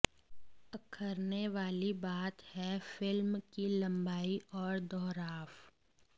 अखरने वाली बात है फिल्म की लंबाई और दोहराव